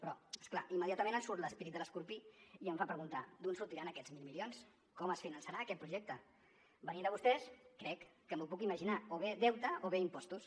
però és clar immediatament em surt l’esperit de l’escorpí i em fa preguntar d’on sortiran aquests mil milions com es finançarà aquest projecte venint de vostès crec que m’ho puc imaginar o bé deute o bé impostos